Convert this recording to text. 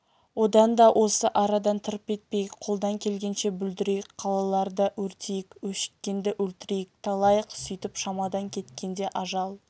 одан да осы арадан тырп етпейік қолдан келгенше бүлдірейік қалаларды өртейік өшіккенді өлтірейік талайық сөйтіп шамадан кеткенде ажал